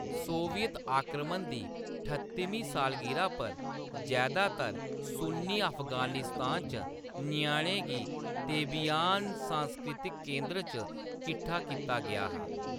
Soviet आक्रमण दी ठत्तमीं सालगिरह पर जैदातर सुन्नी अफ़गानिस्तान च ञ्याणें गी तेबियान सांस्कृतिक केंद्र च किट्ठा कीता गेआ हा।